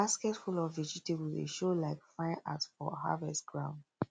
um basket full of vegetable dey show like fine art for harvest ground